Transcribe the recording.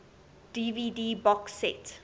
dvd box set